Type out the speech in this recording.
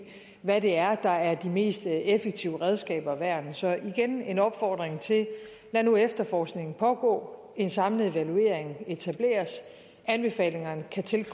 hvad det er der er de mest effektive redskaber og værn så igen vil en opfordring lad nu efterforskningen pågå og en samlet evaluering etableres anbefalingerne